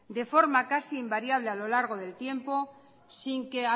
de forma casi invariable a lo largo del tiempo sin que